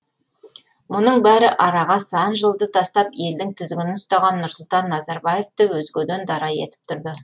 мұның бәрі араға сан жылды тастап елдің тізгінін ұстаған нұрсұлтан назарбаевты өзгеден дара етіп тұрды